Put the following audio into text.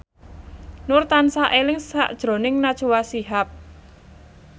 Nur tansah eling sakjroning Najwa Shihab